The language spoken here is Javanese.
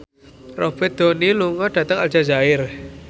Robert Downey lunga dhateng Aljazair